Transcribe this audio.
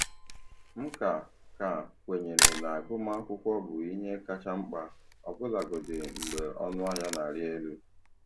M ka ka kwenyere na agụmakwụkwọ bụ ihe kacha mkpa, ọbụlagodi mgbe ọnụ ahịa na-arị elu.